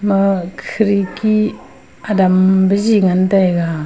aa khidki adam biji ngantaiga.